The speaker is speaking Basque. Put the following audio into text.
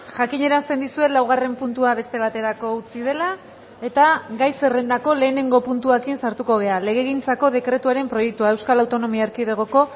jakinarazten dizuet laugarren puntua beste baterako utzi dela eta gai zerrendako lehenengo puntuarekin sartuko gara legegintzako dekretuaren proiektua euskal autonomia erkidegoko